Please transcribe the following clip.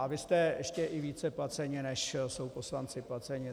A vy jste ještě i více placeni, než jsou poslanci placeni.